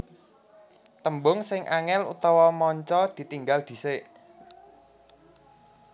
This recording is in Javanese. Tembung sing angel/manca ditinggal dhisik